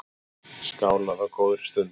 Skálað á góðri stund.